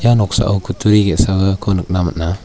noksao kutturi ge·sako nikna man·a.